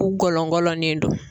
U gɔlɔngɔlɔnen do.